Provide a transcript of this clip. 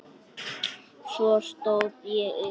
Svo stóð ég upp.